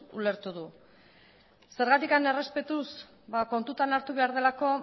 ulertu du zergatik errespetuz ba kontutan hartu behar delako